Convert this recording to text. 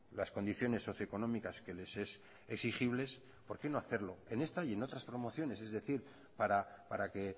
las condiciones socioeconómicas que les es exigibles por qué no hacerlo en esta y en otras promociones es decir para que